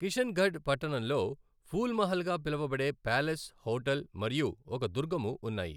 కిషన్గఢ్ పట్టణంలో ఫూల్ మహల్ గా పిలువబడే ప్యాలెస్ హోటల్ మరియు ఒక దుర్గము ఉన్నాయి.